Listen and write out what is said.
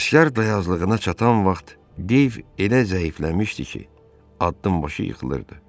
Qaşqar dayazlığına çatan vaxt Deyv elə zəifləmişdi ki, addımbaşı yıxılırdı.